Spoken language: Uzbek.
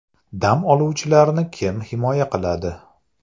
Dam oluvchilarni kim himoya qiladi?!